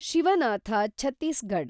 Shivanath Chhattisgarh